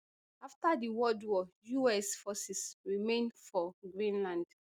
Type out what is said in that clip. afta di war us forces remain for greenland